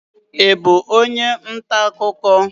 Ị bú onye ntà akụkọ?